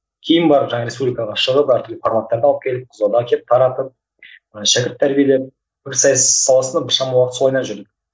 кейін барып жаңағы республикаға шығып әртүрлі форматтарды алып келіп қызылорда әкеп таратып ы шәкірт тәрбиелеп пікірсайыс саласында біршама уақыт солайымен жүрдім